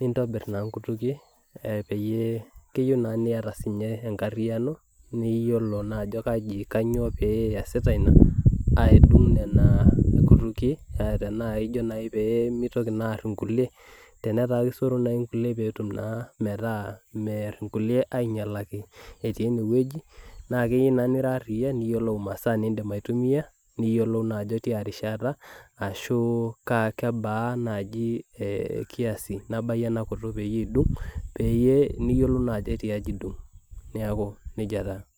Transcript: nintobir naa nkutukie keyieu naa niata enkariyiano naa iyiolo naa ajo kainyoo pee iyasita ina adung nenakutukie tenaaijo naa pee meitoki naa aar inkulie tenetaa keisoru naaji nkulie metaa imear inkulie, ainyialaki etii enewueji. Naa keyieu naa nira ariyia niyiolou imaasaa nindim aitumia niyiolou naa ajo tiarishata ashuu kebaa naaji kiasi nebayu ena kutuk peyie idung. Peyie niyiolou naajo ketiaji idung. Niaku nejia taa